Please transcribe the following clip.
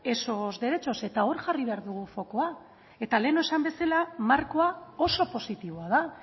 esos derechos eta hor jarri behar dugu fokoa eta lehen esan bezala markoa oso positiboa da